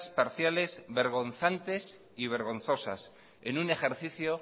parciales vergonzantes y vergonzosas en un ejercicio